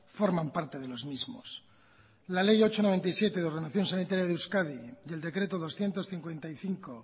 forman parte de los mismos la ley ocho barra noventa y siete de ordenación sanitaria de euskadi y el decreto doscientos cincuenta y cinco